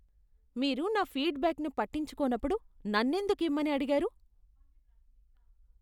మీరు నా ఫీడ్బ్యాక్ను పట్టించుకోనప్పుడు నన్నెందుకు ఇమ్మని అడిగారు?